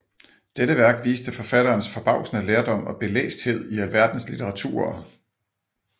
Dette Værk viste forfatterens forbavsende lærdom og belæsthed i alverdens litteraturer